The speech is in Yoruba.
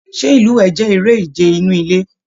Ṣe ilúwẹ jẹ èrè ìje inú ilé?